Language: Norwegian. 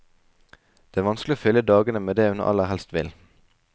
Det er vanskelig å fylle dagene med det hun aller helst vil.